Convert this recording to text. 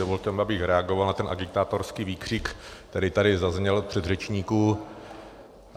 Dovolte mi, abych reagoval na ten agitátorský výkřik, který tady zazněl u předřečníků.